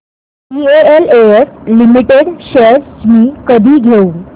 DLF limited shares मी कधी घेऊ